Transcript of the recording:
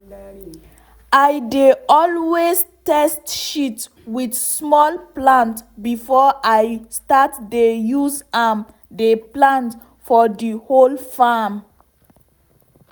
i dey always test shit with small plant before i start dey use am dey plant for the whole farm.